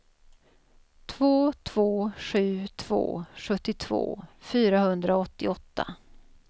två två sju två sjuttiotvå fyrahundraåttioåtta